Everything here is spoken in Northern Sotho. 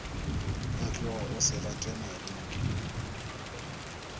phatloga o se gate mariki